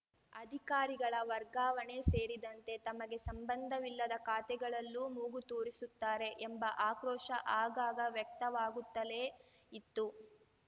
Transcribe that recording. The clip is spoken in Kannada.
ಅಧಿಕಾರಿಗಳ ವರ್ಗಾವಣೆ ಸೇರಿದಂತೆ ತಮಗೆ ಸಂಬಂಧವಿಲ್ಲದ ಖಾತೆಗಳಲ್ಲೂ ಮೂಗು ತೂರಿಸುತ್ತಾರೆ ಎಂಬ ಆಕ್ರೋಶ ಆಗಾಗ ವ್ಯಕ್ತವಾಗುತ್ತಲೇ ಇತ್ತು